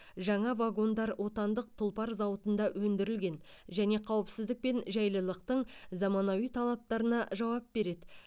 жаңа вагондар отандық тұлпар зауытында өндірілген және қауіпсіздік пен жайлылықтың заманауи талаптарына жауап береді